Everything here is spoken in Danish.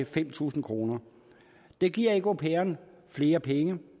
fem tusind kroner det giver ikke au pairen flere penge